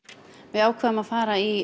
við ákváðum að fara í